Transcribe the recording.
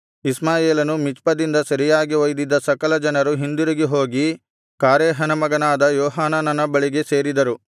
ಇಷ್ಮಾಯೇಲನು ಮಿಚ್ಪದಿಂದ ಸೆರೆಯಾಗಿ ಒಯ್ದಿದ್ದ ಸಕಲ ಜನರು ಹಿಂದಿರುಗಿ ಹೋಗಿ ಕಾರೇಹನ ಮಗನಾದ ಯೋಹಾನಾನನ ಬಳಿಗೆ ಸೇರಿದರು